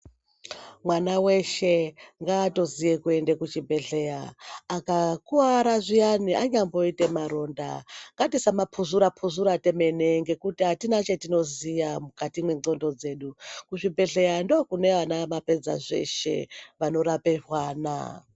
Mwana weshe ngaato ziye kuenda ku chi bhedhleya aka kwara zviyana anyambo ite maronda ngatisama puzvura puzvura tomene nekuti apana chatino ziya mukati me ndxondo dzedu kuzvi bhehlera ndiko kune mapedza zvose vano rape ana.